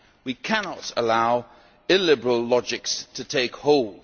We cannot allow illiberal logics to take hold.